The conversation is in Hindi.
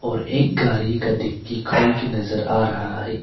और एक गाड़ी का डिग्गी खोल के नजर आ रहा है।